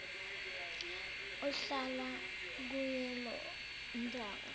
ohlala kuleyo ndawo